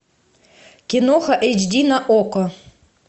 киноха эйч ди на окко